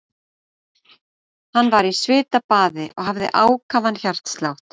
Hann var í svitabaði og hafði ákafan hjartslátt.